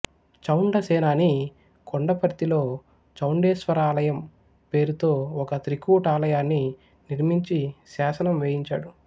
చౌండసేనాని కొండపర్తిలో చౌండేశ్వరాలయం పేరుతో ఒక త్రికూటాలయాన్ని నిర్మించి శాసనం వేయించాడు